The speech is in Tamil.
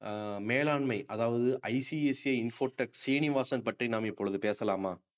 அஹ் மேலாண்மை அதாவது ஐசிஐசிஐ இன்ஃபோடெக் ஸ்ரீனிவாசன் பற்றி நாம் இப்பொழுது பேசலாமா